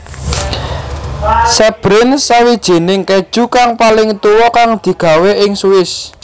Sbrinz Sawijining keju kang paling tuwa kang digawé ing Swiss